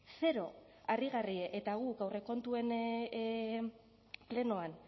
zero harrigarria eta guk aurrekontuen plenoan